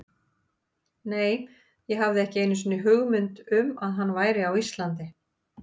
Nei, ég hafði ekki einu sinni hugmynd um að hann væri á Íslandi.